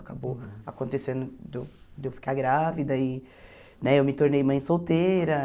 Acabou acontecendo de eu de eu ficar grávida e né eu me tornei mãe solteira.